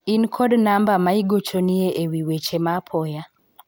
in kod namba ma igochonie ewi weche ma apoya ?